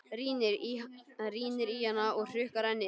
Rýnir í hana og hrukkar ennið.